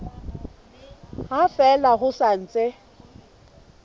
ha fela ho sa ntse